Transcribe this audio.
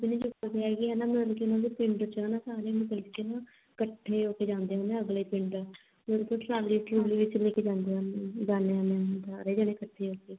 ਆਪਣੇ ਪਿੰਡ ਚ ਨਹੀਂ ਚੁਗਦੇ ਹੈਗੇ ਹਨਾ ਮਤਲਬ ਕੀ ਉਹਨਾ ਦੇ ਪਿੰਡ ਚ ਹਨਾ ਸਾਰੇ ਮਤਲਬ ਕੇ ਇਕੱਠੇ ਹੋਕੇ ਜਾਂਦੇ ਅਗਲੇ ਪਿੰਡ ਮਤਲਬ ਕੀ ਉਹ ਟਰਾਲੀ ਟਰੁਲੀ ਚ ਲੈਕੇ ਜਾਂਦੇ ਉਹਨੂੰ ਜਾਂਦੇ ਹੁੰਦੇ ਆ ਸਾਰੇ ਜਣੇ ਇਕਠੇ ਹੋ ਕੇ